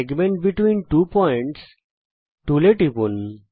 segment between two Points এ টিপুন